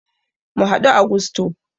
Mu haɗu a gusto